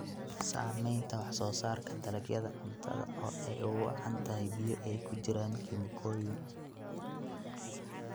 Saamaynta wax-soo-saarka dalagyada cuntada oo ay ugu wacan tahay biyo ay ku jiraan kiimikooyin.